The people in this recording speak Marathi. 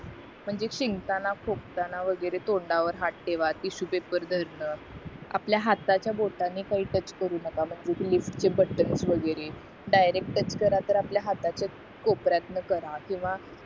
पण जे शिंकताना खोकताना वगैरे तोंडावर हाथ ठेवा टिशू पेपर धरणा आपल्या हाताच्या बोटाने काही टच करू नका म्हणजे कि लिफ्ट ची बटण वगैरे डायरेक्ट टच करा तर आपल्या हाताच्या कोपर्यातन करा किंवा